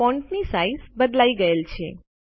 ફૉન્ટની size બદલાઈ ગયેલ છે